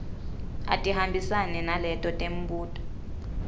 atihambisane naleto temibuto